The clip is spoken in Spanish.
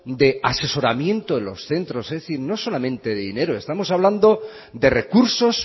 de asesoramiento de los centros es decir no solamente de dinero estamos hablando de recursos